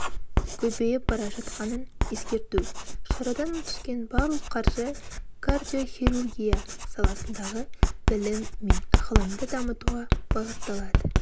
көбейіп бара жатқанын ескерту шарадан түскен барлық қаржы кардиохирургия саласындағы білім мен ғылымды дамытуға бағытталады